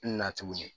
Na tuguni